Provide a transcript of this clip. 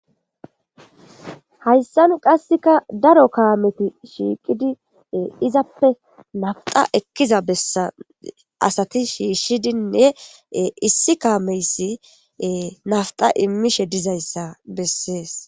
hayssan qassekka daro kaameti shiiqidi izappe nafita ekkiza bessa asati shiishshidinne issi kaameyssi nafta immiishshe dizayssa bessees